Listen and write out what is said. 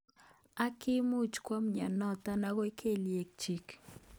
Ak kimuch kwo mnyenotok akoi kelyek chik.